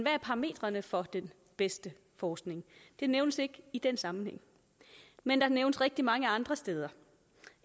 er parametrene for den bedste forskning det nævnes ikke i den sammenhæng men der nævnes rigtig mange andre steder